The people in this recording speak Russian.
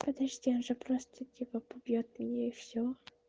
подожди он же просто типа побьёт меня и все